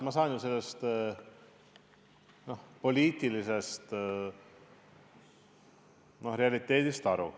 Ma saan ju sellest poliitilisest realiteedist aru.